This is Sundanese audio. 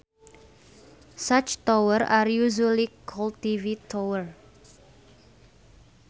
Such towers are usually called TV tower.